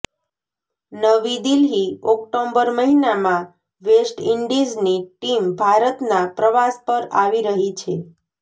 નવી દિલ્હીઃ ઓક્ટોબર મહિનામાં વેસ્ટ ઇન્ડિઝની ટીમ ભારતના પ્રવાસ પર આવી રહી છે